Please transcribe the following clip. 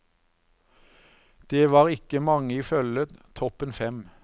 Det var ikke mange i følget, toppen fem.